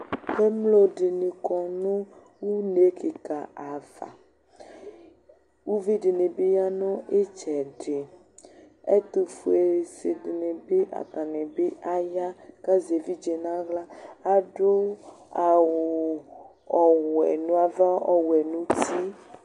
Emlo ɗini kɔnu une kika ava, uvi ɗini bi ya nu itsɛɗi Ɛtufoe ɗinibi atanibi aya kazɛ vlitsɛ nayla, aɖu awu ɔwɛ nava, ɔwɛ nu ti